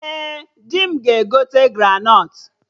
Ee, dị m ga-egote granọt